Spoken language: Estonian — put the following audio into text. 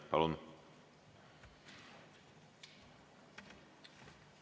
Palun!